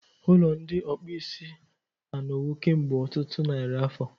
Ụlọ ndị okpuisi anọwo kemgbe ọtụtụ narị afọ.